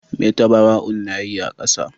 Me tabaraun na yi a kasa.